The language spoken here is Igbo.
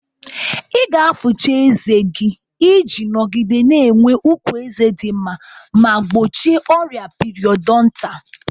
Ị ga-afụcha ezé gị iji nọgide na-enwe ukwu eze di nma ma gbochie ọrịa piriodontalu.